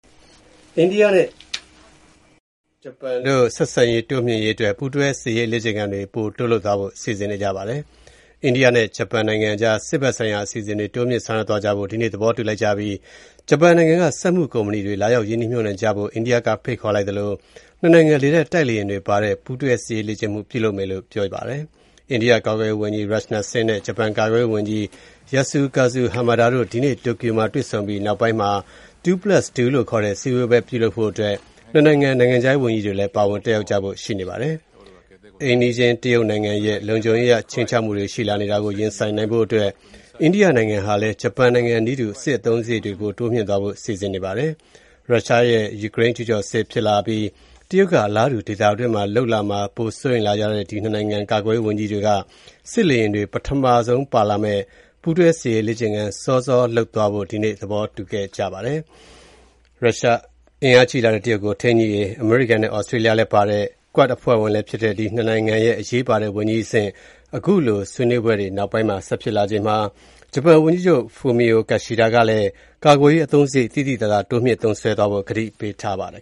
အိန္ဒိယနဲ့ဂျပန်တို့ ဆက်ဆံရေးတိုးမြှင့်ရေးအတွက် ပူးတွဲစစ်ရေးလေ့ကျင့်ခန်းတွေ ပိုတိုးလုပ်သွားဖို့ စီစဉ်နေကြပါတယ်။ အိန္ဒိယနဲ့ဂျပန်နိုင်ငံအကြား စစ်ဘက်ဆိုင်ရာအစီအစဉ်တွေ တိုးမြှင့်ဆောင်ရွက်သွား ကြဖို့ ဒီကနေ့ သဘောတူလိုက်ကြပြီး ဂျပန်နိုင်ငံက စက်မှုကုမ္ပဏီတွေ လာရောက် ရင်းနှီးမြုပ်နှံကြဖို့ အိန္ဒိယကဖိတ်ခေါ်လိုက်သလို နှစ်နိုင်ငံ လေတပ်တိုက်လေယာဉ်တွေပါဝင်တဲ့ ပူးတွဲစစ်ရေးလေ့ကျင့်မှု ပြုလုပ်ကြမယ်လို့ ပြောပါတယ်။ အိန္ဒိယကာကွယ်ရေးဝန်ကြီး Rajnath Singh နဲ့ ဂျပန်ကာကွယ်ရေးဝန်ကြီး Yasukazu Hamada တို့ ဒီကနေ့ တိုကျိုမြို့မှာတွေ့ဆုံပြီး နောက်ပိုင်းမှာ “Two-plus-two” လို့ခေါ်တဲ့ စည်းဝေးပွဲ ပြုလုပ်ဖို့ နှစ်နိုင်ငံ နိုင်ငံခြားရေးဝန်ကြီးတွေလည်း ပါဝင် တက်ရောက်ကြဖို့ ရှိပါတယ်။ အိမ်နီးချင်းတရုတ်နိုင်ငံရဲ့ လုံခြုံရေးအရ ခြိမ်းခြောက်မှုတွေ ရှိလာနေတာကို ရင်ဆိုင်နိုင်ဖို့အတွက် အိန္ဒိယနိုင်ငံဟာလည်း ဂျပန်နိုင်ငံနည်းတူ စစ်အသုံးစားရိတ်တွေ တိုးမြှင့်သွားဖို့ စီစဉ်နေပါတယ်။ ရုရှားရဲ့ယူကရိန်းကျုးကျော်စစ်ဖြစ်လာပြီး တရုတ်က အလားတူ ဒေသတွင်းမှာလုပ် လာမှာ ပိုစိုးရိမ်လာကြတဲ့ ဒီ ၂ နိုင်ငံ ကာကွယ်ရေးဝန်ကြီးတွေက စစ်လေယာဉ်တွေ ပထမဆုံးပါလာမယ့် ပူးတွဲစစ်ရေးလေ့ကျင့်ခန်း စောစောလုပ်သွားဖို့ ဒီနေ့ သဘောတူခဲ့ပါတယ်။ အင်အားကြီးလာတဲ့ တရုတ်ကို ထိန်းညှိရေး အမေရိကန်နဲ့ သြစတြေးလျလည်းပါတဲ့ QUAD အဖွဲ့ဝင်လည်းဖြစ်တဲ့ ဒီ ၂ နိုင်ငံ ကာကွယ်ရေးဝန်ကြီးတွေ အခုတွေ့ အပြီး ၂ ဘက် နိုင်ငံခြားရေးဝန်ကြီးတွေလည်း ထပ်ပါမယ့် Two-Plus-Two ဆွေးနွေးပွဲ ဆက်ဖို့လည်းရှိနေပါတယ်။ ဂျပန်ဝန်ကြီးချုပ် Fumio Kishida ကလည်း ကာကွယ်ရေးအသုံးစရိတ် သိသိသာသာ တိုးမြှင့်သုံးစွဲသွားဖို့ ကတိပြုထားပါတယ်